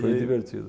Foi divertido.